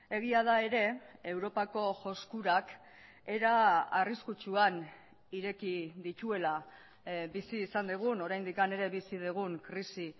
egia da ere europako joskurak era arriskutsuan ireki dituela bizi izan dugun oraindik ere bizi dugun krisi